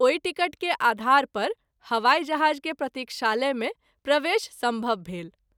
ओहि टिकट के आधार पर हवाई जहाज़ के प्रतिक्षालय मे प्रवेश संभव भेल।